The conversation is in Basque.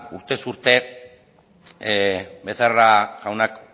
urtez urte becerra jaunak